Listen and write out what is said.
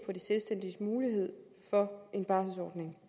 på de selvstændiges mulighed for en barselsordning